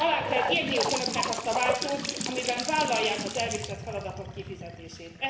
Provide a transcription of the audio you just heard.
Alá kell írniuk Önöknek azt a váltót, amelyben vállalják az elvégzett feladatok kifizetését.